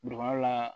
la